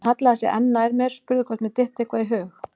Hann hallaði sér enn nær mér, spurði hvort mér dytti eitthvað í hug.